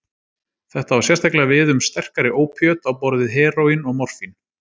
Þetta á sérstaklega við um sterkari ópíöt á borð við heróín og morfín.